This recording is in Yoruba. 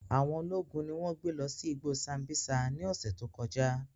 Awọn ologun ni wọn gbe lọ si igbo Sambisa ni ọsẹ to kọja.